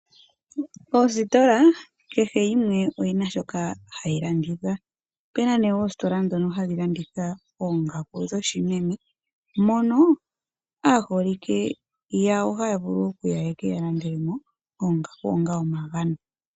Oositola kehe yimwe oyi na shoka hayi landitha. Opu na oositola ndhoka hadhi landitha oongaku dhoshimeme mono aaholike yawo haya vulu ye ke ya landele mo oongaku onga omagano.